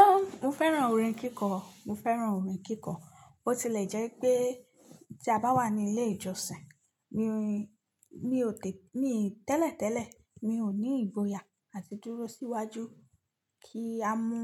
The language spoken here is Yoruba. Óun, mo fẹ́ràn orin kíkọ, mo fẹ́ràn orin kíkọ. Ó ti lè jẹ́ pé tí a bá wà ní ilé ìjọsìn, mi ò ní, mi ò tẹ̀lẹ̀tẹ̀lẹ̀, mi ò ní ìgboyà àti dúró síwájú kí a mú